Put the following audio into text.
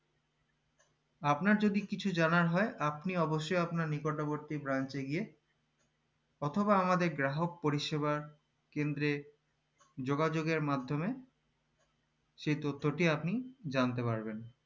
আপনার যদি কিছু জানার হয় আপনি অবশ্যই আপনার নিকটবর্তী branch এ গিয়ে অথবা আমাদের গ্রাহক পরিষেবার কেন্দ্রে যোগাযোগের মাদ্ধমে সেই তথ্যটি আপনি জানতে পারবেন